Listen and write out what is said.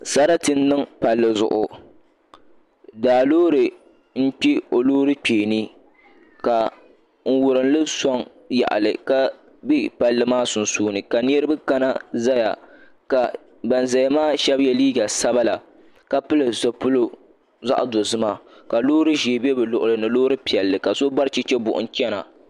Sarati n niŋ palli zuɣu daa loori n kpɛ o loori kpee ni n wurimli soŋ yaɣali ka bɛ palli maa sunsuuni ka niraba kana ti ʒɛya ka ban ʒɛya maa shab yɛ liiga sabila ka pili zipili zaɣ dozima ka loori ʒiɛ bɛ bi luɣuli ni ni loori piɛlli ka so bari chɛchɛ buɣum chɛna